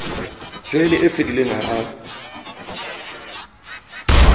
joyene e fedileng ha a